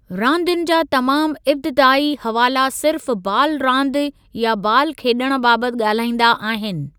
रांदियुनि जा तमामु इब्तिदाई हवाला सिर्फ़ 'बालु रांदि या 'बालु खेॾणु बाबति ॻाल्हाईंदा आहिनि।